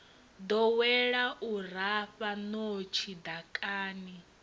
ḓowela u rafha ṋotshi ḓakani